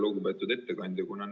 Lugupeetud ettekandja!